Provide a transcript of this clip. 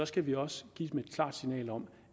skal vi også give dem et klart signal om